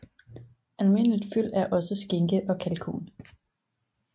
Almindeligt fyld er også skinke og kalkun